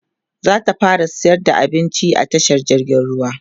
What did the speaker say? zata fara sayar da abinci a tashar jirgin ruwa